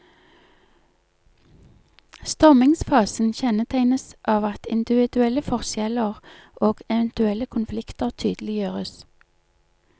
Stormingsfasen kjennetegnes av at individuelle forskjeller og eventuelle konflikter tydeliggjøres.